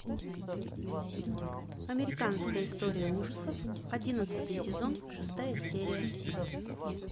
американская история ужасов одиннадцатый сезон шестая серия